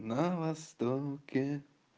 на востоке